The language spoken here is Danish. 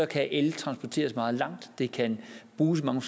kan el transporteres meget langt det kan bruges i mange